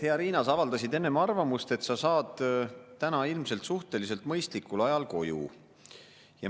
Hea Riina, sa avaldasid enne arvamust, et sa saad täna ilmselt suhteliselt mõistlikul ajal koju.